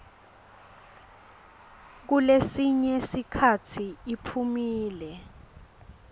kulesinye sikhatsi iphumile